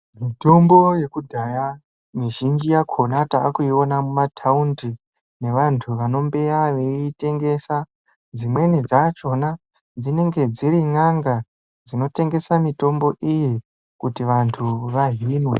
Mitombo yekudhara mizhinji yakona takuiona mumataundi nevantu vanombeya veitengesa dzimweni dzachona dzinenge dziri n'anga dzinotengesa mitombo iyi kuti vanhu vahinwe .